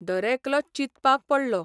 दरेकलो चिंतपाक पडलो.